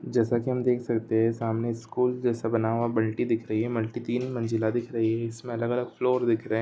जैसा कि हम देख सकते हैं सामने स्कूल जैसा बना हुआ बाल्टी दिख रही है मल्टी तीन मंजिला दिख रही है इसमें अलग-अलग फ्लोर दिखे है।